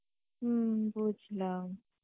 হম বুঝলাম